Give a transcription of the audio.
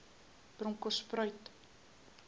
bronkhortspruit